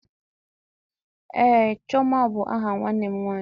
Ee, chioma bụ aha nwanne m nwanyị